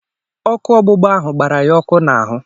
Ọkụ ọgbụgba ahụ gbara ya ọkụ n'ahụ